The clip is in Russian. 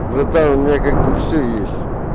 братан у меня как бы всё есть